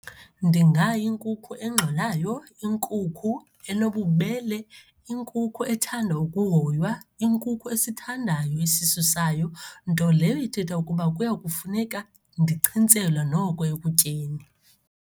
Ndingayinkukhu engxolayo, inkukhu enobubele, inkukhu ethanda ukuhoywa, inkukhu esithandayo isisu sayo, nto leyo ithetha ukuba kuya kufuneka ndichintselwe noko ekutyeni.